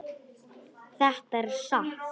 Þetta er satt!